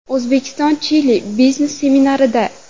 O‘zbekiston–Chili biznes seminarida.